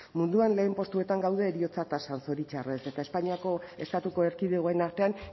munduan lehen postuetan gaude heriotza tasan zoritxarrez eta espainiako estatuko erkidegoen artean